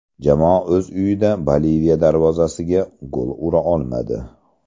Jamoa o‘z uyida Boliviya darvozasiga gol ura olmadi.